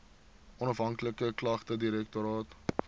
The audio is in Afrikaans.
onafhanklike klagtedirektoraat